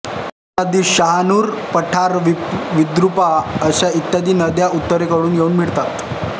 पूर्णा नदीस शहानूर पठार विद्रूपा आस इत्यादी नद्या उत्तरेकडून येऊन मिळतात